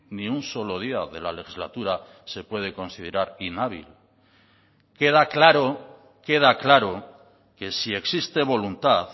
queda claro que si existe voluntad